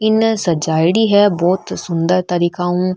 एने सजाई डी बहुत सुन्दर तरीका हु --